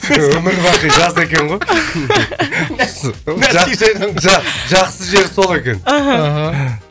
өмір бақи жаз екен ғой жақсы жері жақсы жері сол екен аха